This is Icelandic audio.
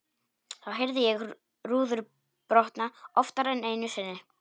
Þá heyrði ég rúður brotna, oftar en einu sinni.